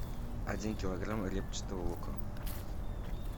один килограмм репчатого лука